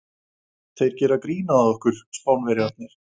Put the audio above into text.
Þeir gera grín að okkur, Spánverjarnir!